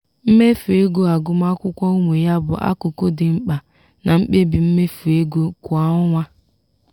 mmefu ego agụmakwụkwọ ụmụ ya bụ akụkụ dị mkpa na mkpebi mmefu ego kwa ọnwa.